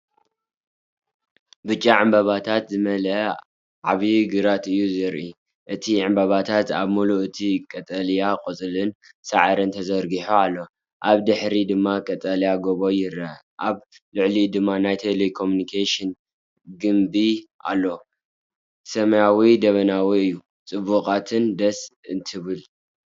ብጫ ዕምባባታት ዝመልአ ዓብይ ግራት እዩ ዘርኢ። እቲ ዕምባባታት ኣብ ምሉእ እቲ ቀጠልያ ቆጽልን ሳዕርን ተዘርጊሑ ኣሎ። ኣብ ድሕሪት ድማ ቀጠልያ ጎቦ ይርአ፣ ኣብ ልዕሊኡ ድማ ናይ ቴሌኮሙኒኬሽን ግምቢ ኣሎ። ሰማይ ደበናዊ እዩ። ጽብቕትን ደስ እትብልን!